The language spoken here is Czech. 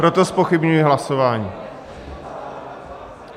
Proto zpochybňuji hlasování.